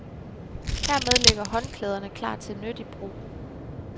Hermed ligger håndklæderne klar til nyttig brug.